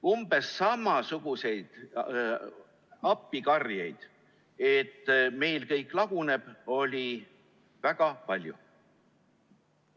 Umbes samasuguseid appikarjeid, et meil kõik laguneb, oli väga palju.